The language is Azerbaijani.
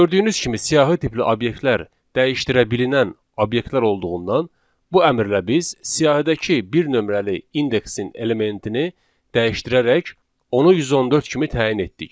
Gördüyünüz kimi, siyahı tipli obyektlər dəyişdirilə bilən obyektlər olduğundan, bu əmrlə biz siyahıdakı bir nömrəli indeksin elementini dəyişdirərək onu 114 kimi təyin etdik.